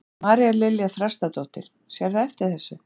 María Lilja Þrastardóttir: Sérðu eftir þessu?